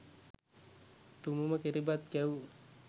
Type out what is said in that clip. තුමූම කිරිබත් කැවූ